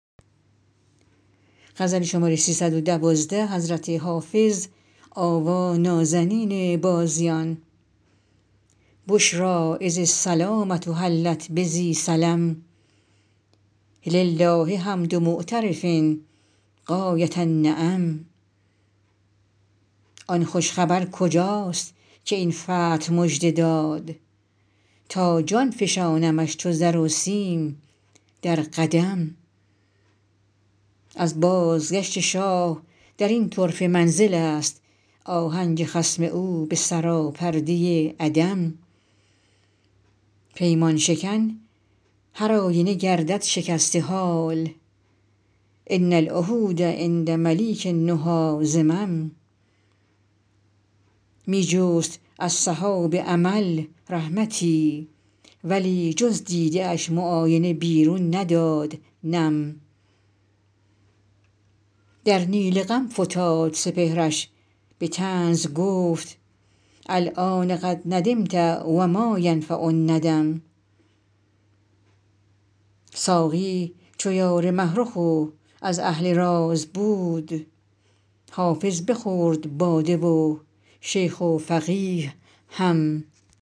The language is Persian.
بشری اذ السلامة حلت بذی سلم لله حمد معترف غایة النعم آن خوش خبر کجاست که این فتح مژده داد تا جان فشانمش چو زر و سیم در قدم از بازگشت شاه در این طرفه منزل است آهنگ خصم او به سراپرده عدم پیمان شکن هرآینه گردد شکسته حال ان العهود عند ملیک النهی ذمم می جست از سحاب امل رحمتی ولی جز دیده اش معاینه بیرون نداد نم در نیل غم فتاد سپهرش به طنز گفت الآن قد ندمت و ما ینفع الندم ساقی چو یار مه رخ و از اهل راز بود حافظ بخورد باده و شیخ و فقیه هم